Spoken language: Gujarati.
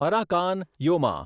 Arakan Yoma